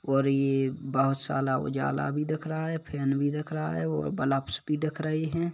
और यह बहोत सारा उजाला भी दिख रहा है फैन भी दिख रहा है और बल्ब्स भी दिख रहे है।